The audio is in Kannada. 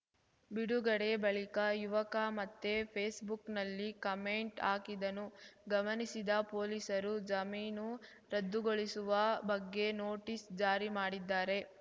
ಬಿಡುಗಡೆ ಬಳಿಕ ಯುವಕ ಮತ್ತೆ ಫೇಸ್‌ಬುಕ್‌ನಲ್ಲಿ ಕಮೆಂಟ್‌ ಹಾಕಿದ್ದನ್ನು ಗಮನಿಸಿದ ಪೊಲೀಸರು ಜಮೀನು ರದ್ದುಗೊಳಿಸುವ ಬಗ್ಗೆ ನೋಟಿಸ್‌ ಜಾರಿ ಮಾಡಿದ್ದಾರೆ